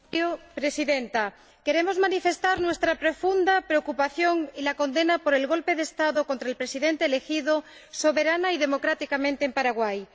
Señora Presidenta, queremos manifestar nuestra profunda preocupación y la condena por el golpe de Estado contra el Presidente elegido soberana y democráticamente en Paraguay.